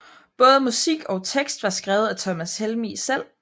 Både musik og tekst var skrevet af Thomas Helmig selv